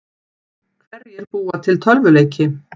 Hverjir búa til tölvuleiki?